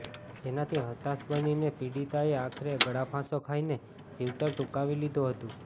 જેનાથી હતાશ બનીને પીડિતાએ આખરે ગળાફાંસો ખાઇને જીવતર ટૂંકાવી લીધું હતું